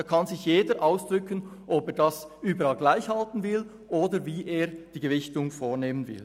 jeder kann zum Ausdruck bringen, ob er es überall gleich halten oder eine Gewichtung vornehmen will.